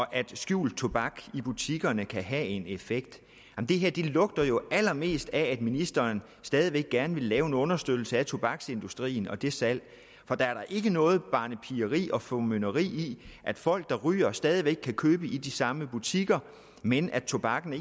at skjult tobak i butikkerne kan have en effekt det her lugter jo allermest af at ministeren stadig væk gerne vil lave en understøttelse af tobaksindustrien og det salg for der er da ikke noget barnepigeri og formynderi i at folk der ryger stadig væk kan købe i de samme butikker men tobakken